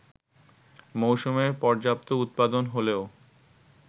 মৌসুমে পর্যাপ্ত উৎপাদন হলেও